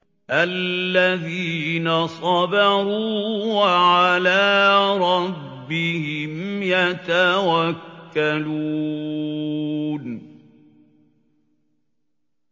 الَّذِينَ صَبَرُوا وَعَلَىٰ رَبِّهِمْ يَتَوَكَّلُونَ